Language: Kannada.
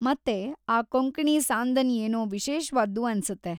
ಮತ್ತೆ ಆ ಕೊಂಕಣಿ ಸಾಂದನ್‌ ಏನೋ ವಿಶೇಷ್ವಾದ್ದು ಅನ್ಸತ್ತೆ.